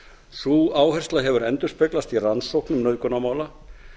sú áhersla hefur endurspeglast í rannsóknum nauðgunarmála